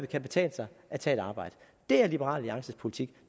kan betale sig at tage et arbejde det er liberal alliances politik